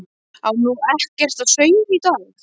Á nú ekkert að sauma í dag?